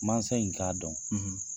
Mansa in k'a dɔn